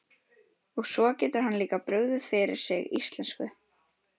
Og svo getur hann líka brugðið fyrir sig íslensku!